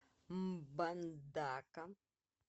мбандака